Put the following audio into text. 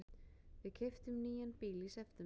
Við keyptum nýjan bíl í september.